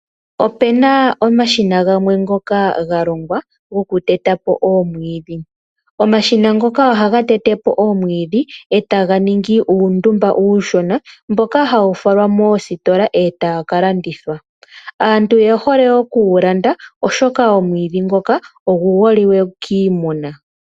Opena omashina gamwe ngoka ga longwa goku tetapo oomwiidhi. Omashina ngoka ohaga tetepo oomwidhi etaga ningi uundumba uushona mboka hawu falwa moositola etagu kalandithwa. Aantu oyehole oku gulanda oshoka omwiidhi ngoka ogu holike kiimuna